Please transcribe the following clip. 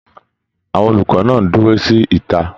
Àwọn olùkọ náà n dúró sí ìta.